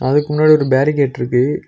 அதுக்கு முன்னாடி ஒரு பேரிகேட்ருக்கு .